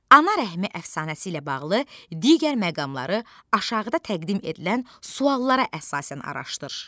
Ana rəhmi əfsanəsi ilə bağlı digər məqamları aşağıda təqdim edilən suallara əsasən araşdır.